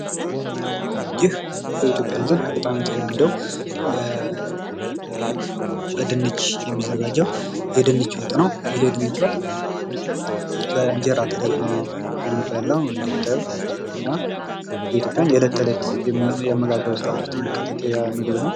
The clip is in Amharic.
ይህ በኢትዮጽያን ዘንድ በጣም የተለመደው በድንች የሚዘጋጀው የድንች ወጥ ነው። ይህ የድንች ወጥ በእንጀራ ተደርጎ ነው የሚበላው እንደምታዩት እና የኢትዮጽያውያን የእለት ከእለት የአመጋገብ ስነስርዓት ውስጥ የሚካተት ምግብ ነው